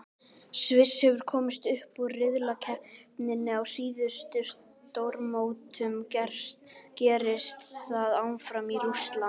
Sviss hefur komist upp úr riðlakeppninni á síðustu stórmótum, gerist það áfram í Rússlandi?